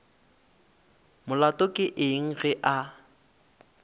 molato ke eng ge a